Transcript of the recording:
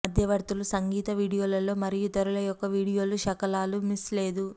మధ్యవర్తులు సంగీత వీడియోలలో మరియు ఇతరుల యొక్క వీడియోలు శకలాలు మిస్ లేదు